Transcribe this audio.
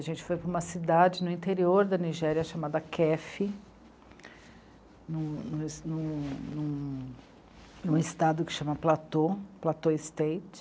A gente foi para uma cidade no interior da Nigéria, chamada Kefi, num, num es, num... num... num estado que chama Platô, Platô State.